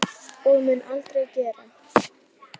Og mun aldrei gera.